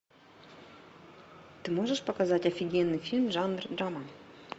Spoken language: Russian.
ты можешь показать офигенный фильм жанр драма